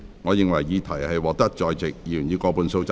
我認為議題獲得在席議員以過半數贊成。